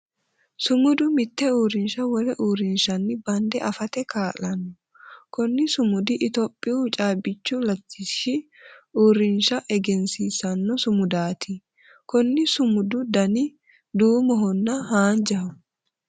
Sumudu mite uurinsha wole uurinshanni bande afate kaa'lano. Kunni sumudi itophiyu caabichu latishi uurinsha egensiisano sumudaati. Konni sumudu danni duumohonna haanjaho.